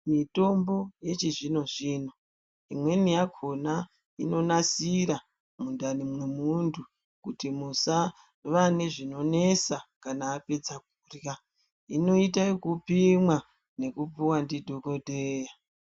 Mitombo yechizvino-zvino imweni yakhona inonasira mundani mwemunthu kuti musava nezvionesa kana apedza kurhya inoita ekupimwa nekupuwa ndidhokodheya.